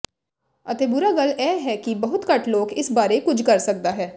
ਅਤੇ ਬੁਰਾ ਗੱਲ ਇਹ ਹੈ ਕਿ ਬਹੁਤ ਘੱਟ ਲੋਕ ਇਸ ਬਾਰੇ ਕੁਝ ਕਰ ਸਕਦਾ ਹੈ